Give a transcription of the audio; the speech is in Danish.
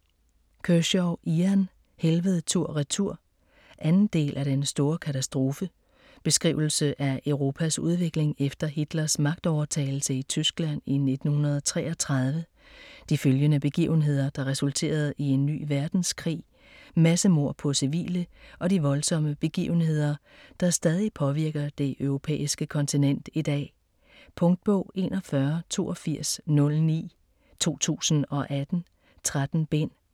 Kershaw, Ian: Helvede tur-retur 2. del af Den store katastrofe. Beskrivelse af Europas udvikling efter Hitlers magtovertagelse i Tyskland i 1933, de følgende begivenheder der resulterede i en ny verdenskrig, massemord på civile og de voldsomme begivenheder, der stadig påvirker det europæiske kontinent i dag. Punktbog 418209 2018. 13 bind.